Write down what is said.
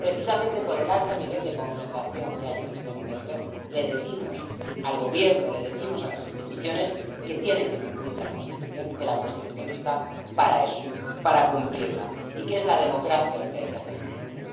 Precisamente por el alto nivel de confrontación que hay en este momento, le decimos al Gobierno, les decimos a las instituciones que tienen que cumplir la Constitución, que la Constitución está para eso, para cumplirla, y que es la democracia lo que hay que hacer funcionar.